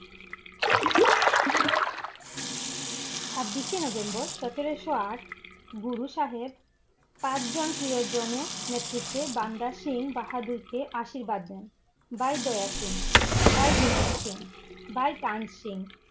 ছাব্বিশে November সতেরশো আঠ গুরু সাহেব পাঁচ জন প্রিয়জনে নেতৃত্বে বান্দা সিং বাহাদুর কে আশীর্বাদ দেন । ভাই দয়া সিং, ভাই বিনোদ সিং, ভাই টান সিং ।